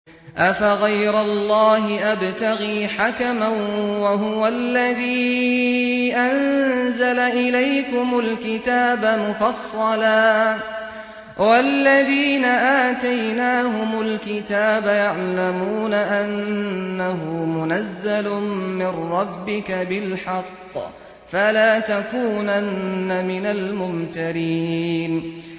أَفَغَيْرَ اللَّهِ أَبْتَغِي حَكَمًا وَهُوَ الَّذِي أَنزَلَ إِلَيْكُمُ الْكِتَابَ مُفَصَّلًا ۚ وَالَّذِينَ آتَيْنَاهُمُ الْكِتَابَ يَعْلَمُونَ أَنَّهُ مُنَزَّلٌ مِّن رَّبِّكَ بِالْحَقِّ ۖ فَلَا تَكُونَنَّ مِنَ الْمُمْتَرِينَ